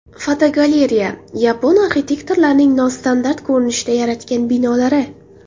Fotogalereya: Yapon arxitektorlarining nostandart ko‘rinishda yaratgan binolari.